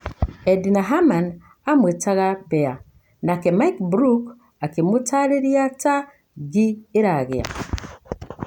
Edna Hamani amũetaga "bea" nake Mike Brook akĩmutarĩrĩa ta "ngii iragia"